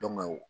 Dɔnku